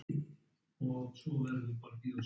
Valdór, bókaðu hring í golf á þriðjudaginn.